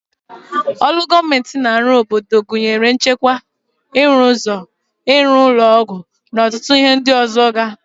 Olu gọọmenti na arụ n'obodo gụnyere nchekwa, ịrụ ụzọ, ịrụ ụlọ ọgwụ na ọtụtụ ihe ndị ọzọ ga